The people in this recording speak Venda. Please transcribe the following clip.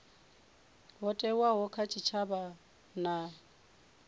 ho thewaho kha tshitshavha na